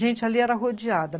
Gente, ali era rodeada.